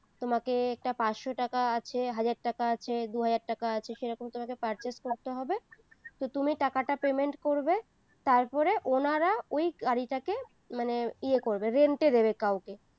তোমাকে একটা পাঁচশো টাকা আছে হাজার টাকা আছে দুই হাজার টাকা আছে সেরকম তোমাকে purchase করতে হবে তো তুমি টাকাটা payment করবে তারপরে উনারা ওই গাড়িটাকে মানে ইয়ে করবে rent এ দেবে কাওকে